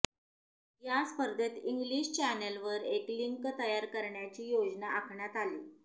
या स्पर्धेत इंग्लिश चॅनलवर एक लिंक तयार करण्याची योजना आखण्यात आली